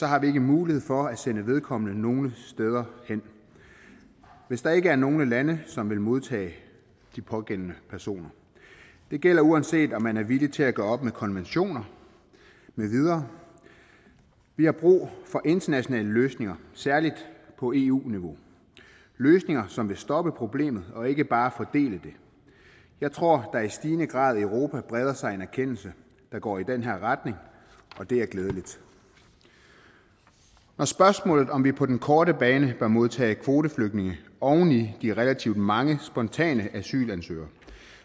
har vi ikke mulighed for at sende vedkommende nogen steder hen hvis der ikke er nogen lande som vil modtage den pågældende person det gælder uanset om man er villig til at gøre op med konventioner med videre vi har brug for internationale løsninger særlig på eu niveau løsninger som vil stoppe problemet og ikke bare fordele det jeg tror der i stigende grad i europa breder sig en erkendelse der går i den her retning og det er glædeligt når spørgsmålet stilles om vi på den korte bane bør modtage kvoteflygtninge oven i de relativt mange spontane asylansøgere